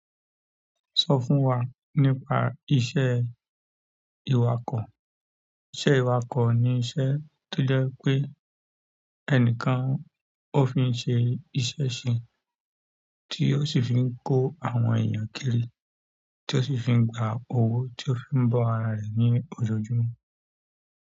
Sọ fún wa nípa iṣẹ́ iwakọ? Iṣẹ́ ìwakọ̀ ni iṣẹ́ tó jẹ́ pé ẹnìkan ó fi ń ṣe iṣẹ́ sin, tí ó sì ń fi kó àwọn èèyàn kírì, tí ó sì ń fi gba owó tí ó fi ń bọ́ ara rẹ̀ ní ọjọ́júmọ́.